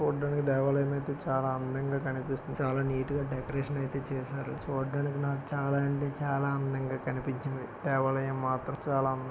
చిత్రం చూడండి సముద్రం పక్కనే విధంగా ఉన్నాయి ఇది సముద్రంలో ఒక చోటు నుంచి మరో చోటుకు వెళ్లడానికి పడవ అనేది ఉపయోగపడుతుంది సముద్రంలో స్నానం చేయవచ్చు ఈత కొట్టాలి.